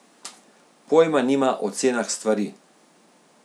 Pojma nima o cenah stvari.